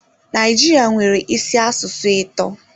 Naijiria nwere isi asụsụ atọ.